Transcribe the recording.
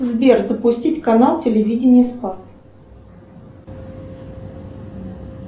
сбер запустить канал телевидения спас